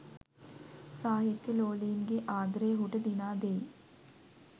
සාහිත්‍යලෝලීන්ගේ ආදරය ඔහුට දිනා දෙයි.